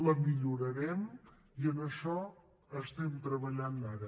la millorarem i en això estem treballant ara